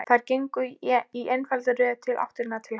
Þær gengu í einfaldri röð í áttina til hans.